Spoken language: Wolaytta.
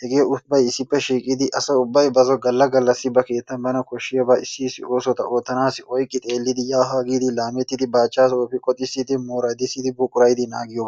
hegee ubbay issippe shiiqidi asa ubbay bason galla galla ba keettan bana koshshiyabaa iisi issi oosota oottanaassi oyqqi xeellidi yaa haa laamettidi, baachchaasoo efi qoxissidi, mooradissidi buqurayidi naagiyoba